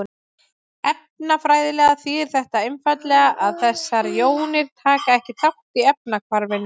Efnafræðilega þýðir þetta einfaldlega að þessar jónir taka ekki þátt í efnahvarfinu.